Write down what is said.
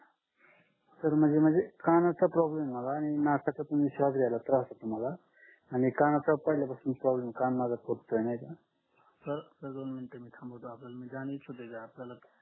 तर मधी मधी कानाचा problem ये मला आणि नाकाचा पण श्वास घ्यायला त्रास होतो मला आणि कानाचा पहिल्यापासून problem ये कान माझा